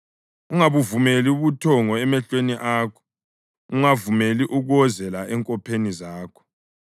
Ungabuvumeli ubuthongo emehlweni akho, ungavumeli ukuwozela enkopheni zakho.